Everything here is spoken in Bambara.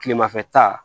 Kilemafɛ ta